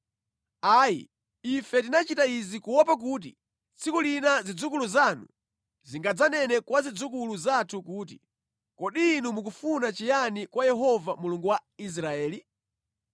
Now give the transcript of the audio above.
“Ayi! Ife tinachita izi kuopa kuti tsiku lina zidzukulu zanu zingadzanene kwa zidzukulu zathu kuti, ‘Kodi inu mukufuna chiyani kwa Yehova Mulungu wa Israeli?